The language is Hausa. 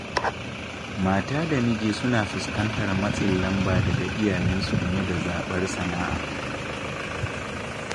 Mata da miji suna fuskantar matsin lamba daga iyayensu game da zaɓar sana'a